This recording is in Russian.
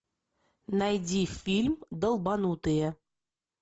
найди фильм долбанутые